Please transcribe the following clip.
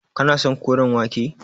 Kana son koren wake.